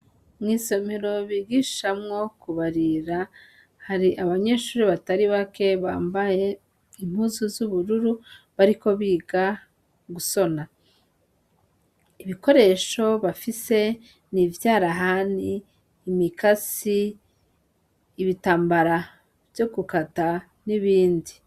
Mw'isomero bigishamwo kubarira, hari abanyeshure batari bake bambaye impuzu z'ubururu bariko biga gushona. Ibikoresho bafise, ni: Ivyarahani, Imikasi, Ibitambara vyo gukata n'ibindi.